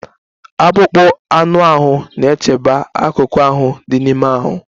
Akpụkpọ anụ ahụ na-echebe akụkụ ahụ dị n'ime ahụ.